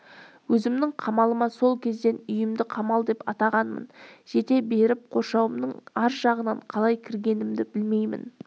өзімнің қамалыма сол кезден үйімді қамал деп атағанмын жете беріп қоршауымның аржағынан қалай кіргенімді білмеймін